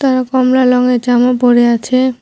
এরা কমলা লংয়ের জামা পরে আছে।